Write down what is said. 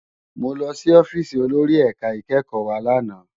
Mó lòsì òfisi ólóri èká ikèékò wá làná